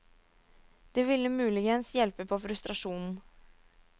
Det ville muligens hjelpe på frustrasjonen!